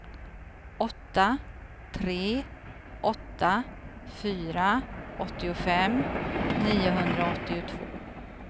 åtta tre åtta fyra åttiofem niohundraåttiotvå